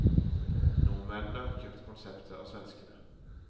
Nordmennene har kjøpt konseptet av svenskene.